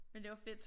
Men det var fedt